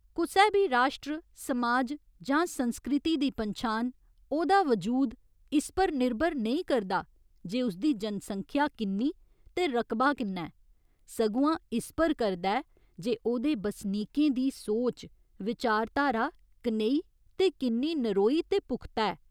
कुसै बी राश्ट्र, समाज जां संस्कृति दी पन्छान, ओह्दा वजूद इस पर निर्भर नेईं करदा जे उसदी जनसंख्या किन्नी ते रकबा किन्ना ऐ सगुआं इस पर करदा ऐ जे ओह्दे बसनीकें दी सोच विचारधारा कनेही ते किन्नी नरोई ते पुख्ता ऐ?